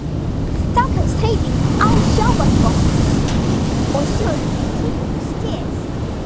Þeir telja að óheftur kapítalismi á öllum sviðum sé eina siðlega stjórnarformið.